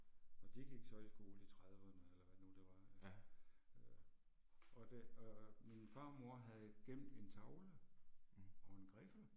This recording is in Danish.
Og de gik så i skole i trediverne eller hvad det nu det var øh. Og det og og min farmor havde gemt en tavle og en griffel